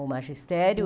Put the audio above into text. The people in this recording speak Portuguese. O magistério.